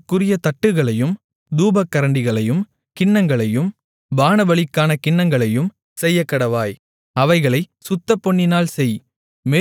அதற்குரிய தட்டுகளையும் தூபக்கரண்டிகளையும் கிண்ணங்களையும் பானபலிக்கான கிண்ணங்களையும் செய்யக்கடவாய் அவைகளைப் சுத்தப்பொன்னினால் செய்